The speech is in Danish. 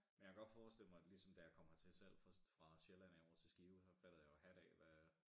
Men jeg kan godt forestille mig ligesom da jeg kom hertil selv fra fra Sjælland af over til Skive så fattede jeg jo hat af hvad